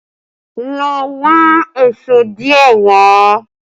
Lọ wọn èṣó díẹ̀ wà!